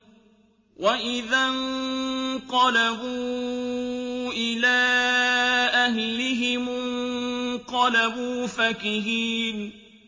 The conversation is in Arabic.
وَإِذَا انقَلَبُوا إِلَىٰ أَهْلِهِمُ انقَلَبُوا فَكِهِينَ